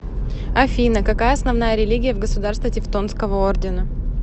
афина какая основная религия в государство тевтонского ордена